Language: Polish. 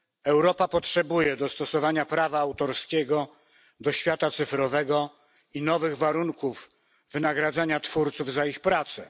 Europa potrzebuje dostosowania prawa autorskiego do świata cyfrowego i nowych warunków wynagradzania twórców za ich pracę.